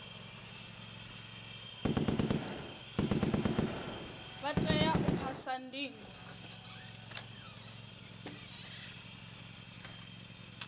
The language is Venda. vha tea u phasa ndingo